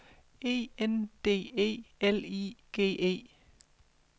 E N D E L I G E